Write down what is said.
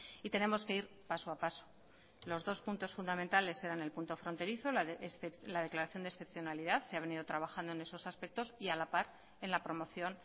y tenemos que ir paso a paso los dos puntos fundamentales eran el punto fronterizo la declaración de excepcionalidad se ha venido trabajando en esos aspectos y a la par en la promoción